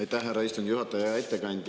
Aitäh, härra istungi juhataja!